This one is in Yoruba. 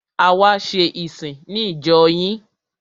A wá ṣe ìsìn ní ìjọ yín.